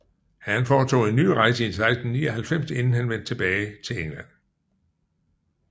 Han foretog en ny rejse i 1699 inden han vendte tilbage til England